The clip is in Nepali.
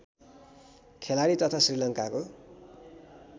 खेलाडी तथा श्रीलङ्काको